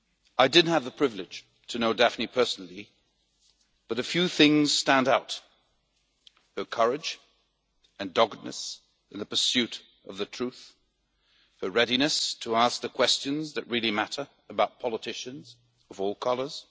I did not have the privilege to know Daphne personally but a few things stand out her courage and doggedness in the pursuit of the truth, her readiness to ask the questions that really matter about politicians of all colours.